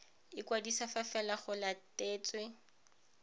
ikwadisa fa fela go latetswe